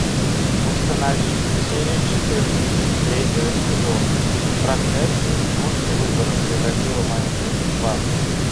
установи серию четырнадцать третьего сезона проклятие мультивыбора превратило мою жизнь в ад